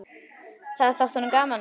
Það þótti honum gaman.